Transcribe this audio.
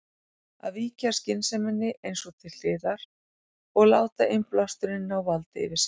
Að víkja skynseminni eins og til hliðar og láta innblásturinn ná valdi yfir sér.